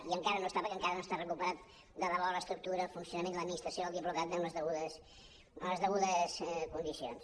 i encara no està perquè encara no estan recuperats de debò l’estructura el funcionament l’administració del diplocat en les degudes condicions